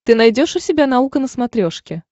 ты найдешь у себя наука на смотрешке